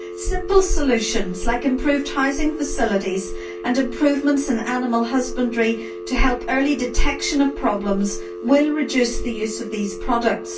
Simple solutions, like improved housing facilities and improvements in animal husbandry to help early detection of problems, will reduce the use of these products.